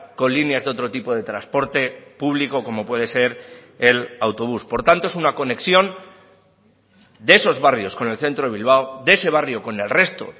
con líneas de otro tipo de transporte público como puede ser el autobús por tanto es una conexión de esos barrios con el centro de bilbao de ese barrio con el resto